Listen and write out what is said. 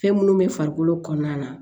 Fɛn minnu bɛ farikolo kɔnɔna na